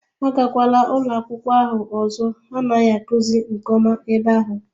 Agakwala ụlọ akwụkwọ ahụ ọzọ ha anaghị akụzi nke ọma ebe ahụ